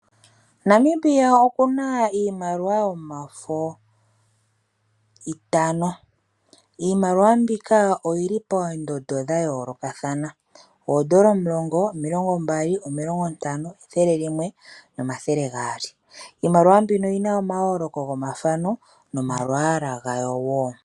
Namibia okuna iimaliwa yomafo itano. Iimbakiwa mbika oyili poondondo dha yoolokathana, oondola omulongo, omilongo mbali, omilongo ntano, ethele limwe nomathele gaali. Iimaliwa mbino oyina omayooloko gomathano nomalwaala gayo wo.